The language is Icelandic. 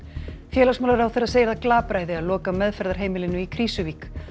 félagsmálaráðherra segir það glapræði að loka meðferðarheimilinu í Krýsuvík